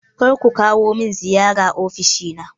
Kar ku kawo min ziyara ofishina!